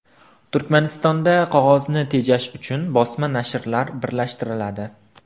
Turkmanistonda qog‘ozni tejash uchun bosma nashrlar birlashtiriladi.